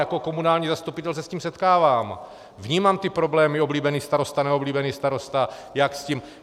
Jako komunální zastupitel se s tím setkávám, vnímám ty problémy, oblíbený starosta, neoblíbený starosta, jak s tím.